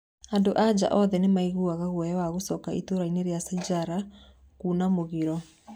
Andũ-a-nja othe Nĩmaaiguaga guoya wa gũcoka itũraĩnĩ rĩa Sijara nĩkuuna mũgiro.